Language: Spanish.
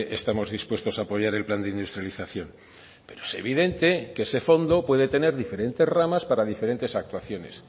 estamos dispuestos a apoyar el plan de industrialización pero es evidente que ese fondo puede tener diferentes ramas para diferentes actuaciones